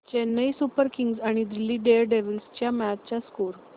Chennai super kings आणि Delhi daredevils च्या match चा स्कोअर